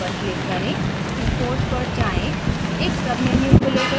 file menu पर click करें import पर जाएँ